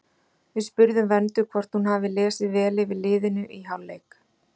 Við spurðum Vöndu hvort hún hafi lesið vel yfir liðinu í hálfleik?